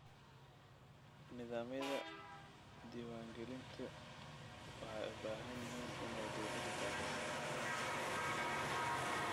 Nidaamyada diiwaangelinta waxay u baahan yihiin inay dawladdu taageerto.